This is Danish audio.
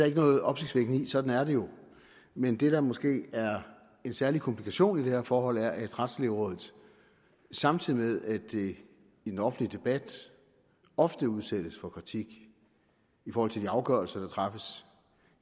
ikke noget opsigtsvækkende i sådan er det jo men det der måske er en særlig komplikation i det her forhold er at retslægerådet samtidig med at det i den offentlige debat ofte udsættes for kritik i forhold til de afgørelser der træffes